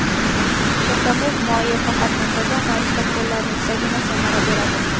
Chakamug‘ moyi faqat muntazam ravishda qo‘llanilsagina samara beradi.